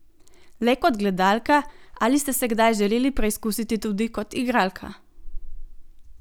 Le kot gledalka, ali ste se kdaj želeli preizkusiti tudi kot igralka?